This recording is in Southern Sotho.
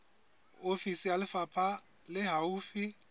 ofisi ya lefapha le haufi